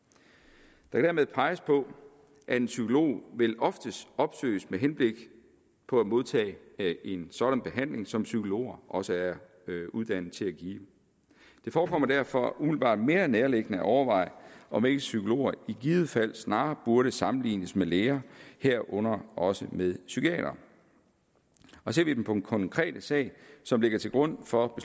der kan dermed peges på at en psykolog vel oftest opsøges med henblik på modtagelse af en sådan behandling som psykologer også er uddannet til at give det forekommer derfor umiddelbart mere nærliggende at overveje om ikke psykologer i givet fald snarere burde sammenlignes med læger herunder også med psykiatere ser vi på den konkrete sag som ligger til grund for